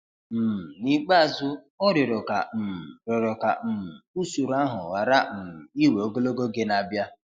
um N''ikpeazụ, ọ 'rịọrọ' ka um 'rịọrọ' ka um usoro ahụ ghara um iwe ogologo oge n'ịbịa.